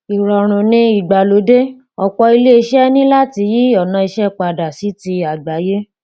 ìrọ̀rùn-ìgbàlódé: ọ̀pọ̀ iléeṣẹ́ ní láti yí ọ̀nà iṣẹ́ padà sí ti àgbáyé.